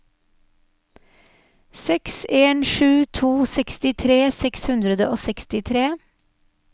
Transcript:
seks en sju to sekstitre seks hundre og sekstitre